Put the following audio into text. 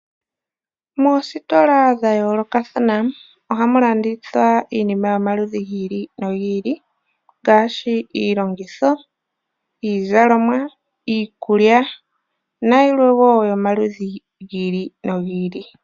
Moositola dhayoolokathana ohamu landithwa iinima oyo omaludhi gi ili nogi ili ngaashi iilongitho, iizalomwa ,iikulya nayilwe wo yomaludhi gi il nogi ili .